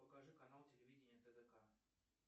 покажи канал телевидения тдк